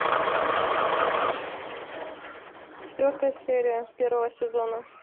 четвертая серия первого сезона